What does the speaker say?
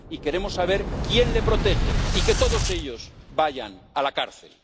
Y queremos saber quién le protege y que todos ellos vayan a la cárcel.